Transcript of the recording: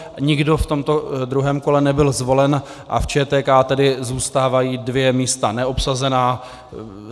Nikdo v tomto druhém kole nebyl zvolen a v ČTK tedy zůstávají dvě místa neobsazena.